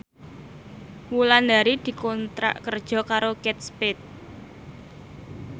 Wulandari dikontrak kerja karo Kate Spade